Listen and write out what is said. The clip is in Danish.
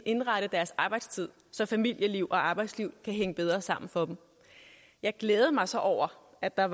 indrette deres arbejdstid så familieliv og arbejdsliv kan hænge bedre sammen for dem jeg glæder mig så over at der